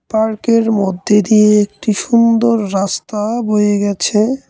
পার্কের মধ্যে দিয়ে একটি সুন্দর রাস্তা বয়ে গেছে।